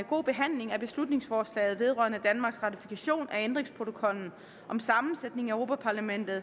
god behandling af beslutningsforslaget vedrørende danmarks ratifikation af ændringsprotokollen om sammensætningen af europa parlamentet